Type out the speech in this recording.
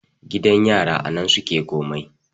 gidan yara a nan suke komai